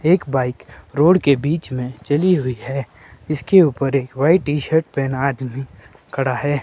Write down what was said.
एक bike road के बीच में चली हुई है इसके ऊपर एक वाइट टी_शर्ट पहना आदमी खड़ा है।